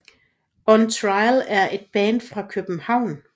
On Trial er et band fra København